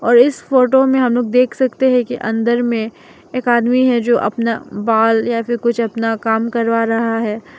और इस फोटो में हम लोग देख सकते हैं कि अंदर में एक आदमी है जो अपना बाल या फिर कुछ अपना काम करवा रहा है।